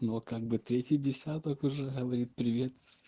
но как бы третий десяток уже говорит привет